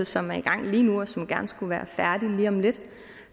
som er i gang lige nu og som gerne skulle være færdig lige om lidt